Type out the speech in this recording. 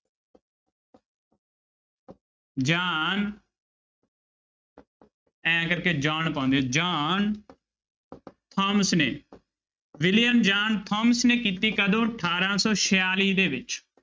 ਜਾਨ ਇਉਂ ਕਰਕੇ ਜੋਹਨ ਪਾਉਂਦੇ ਆ ਜੋਹਨ ਥਾਮਸ ਨੇ ਵਿਲੀਅਮ ਜੋਹਨ ਥੋਮਸ ਨੇ ਕੀਤੀ, ਕਦੋਂ? ਅਠਾਰਾਂ ਸੌ ਛਿਆਲੀ ਦੇ ਵਿੱਚ।